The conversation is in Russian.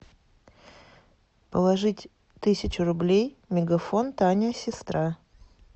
положить тысячу рублей мегафон таня сестра